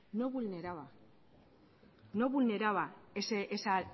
no vulneraba no vulneraba esa